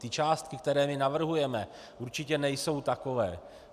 Ty částky, které my navrhujeme, určitě nejsou takové.